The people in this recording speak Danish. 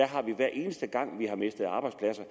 har vi hver eneste gang vi har mistet arbejdspladser